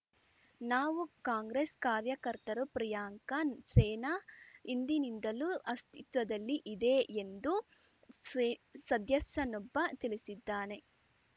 ನಾವು ಕಾಂಗ್ರೆಸ್‌ ಕಾರ್ಯಕರ್ತರು ಪ್ರಿಯಾಂಕಾ ಸೇನಾ ಹಿಂದಿನಿಂದಲೂ ಅಸ್ತಿತ್ವದಲ್ಲಿಇದೆ ಎಂದು ಸೇ ಸದಸ್ಯನೊಬ್ಬ ತಿಳಿಸಿದ್ದಾನೆ